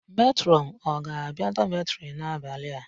Metrọn ọ ga-abia dọmetịrị n'abalị a?